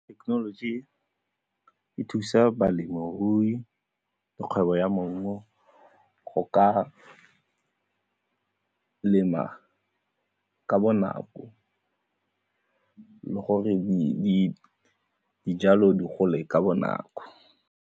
Technology e thusa balemirui lgwebo ya maungo go ka lema ka bonako le gore dijalo di gole ka bonako.